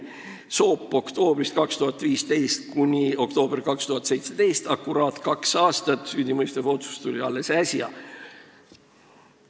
Soop: oktoobrist 2015 kuni oktoobrini 2017, akuraatselt kaks aastat, süüdimõistev otsus tuli alles äsja.